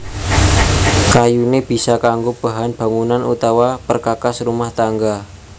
Kayuné bisa kanggo bahan bangunan utawa perkakas rumah tangga